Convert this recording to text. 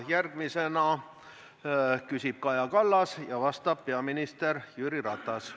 Järgmisena küsib Kaja Kallas ja vastab peaminister Jüri Ratas.